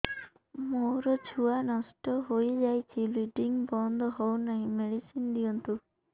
ମୋର ଛୁଆ ନଷ୍ଟ ହୋଇଯାଇଛି ବ୍ଲିଡ଼ିଙ୍ଗ ବନ୍ଦ ହଉନାହିଁ ମେଡିସିନ ଦିଅନ୍ତୁ